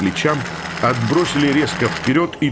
плечам отбросили резко вперёд и